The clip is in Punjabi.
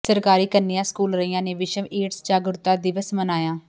ਸਰਕਾਰੀ ਕੰਨਿਆ ਸਕੂਲ ਰਈਆ ਨੇ ਵਿਸ਼ਵ ਏਡਜ਼ ਜਾਗਰੂਕਤਾ ਦਿਵਸ ਮਨਾਇਆ